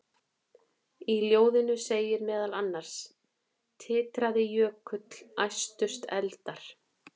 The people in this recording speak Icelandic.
Í ljóðinu segir meðal annars: Titraði jökull, æstust eldar,